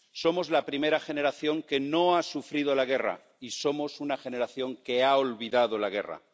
Somos la primera generación que no ha sufrido la guerra y somos una generación que ha olvidado la guerra.